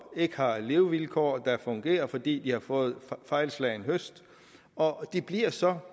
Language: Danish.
ikke har levevilkår der fungerer fordi de har fået fejlslagen høst og de bliver så